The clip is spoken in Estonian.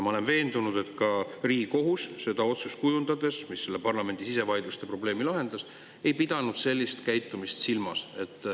Ma olen veendunud, et Riigikohus seda otsust kujundades, mis selle parlamendi sisevaidluste probleemi lahendas, ei pidanud silmas sellist käitumist.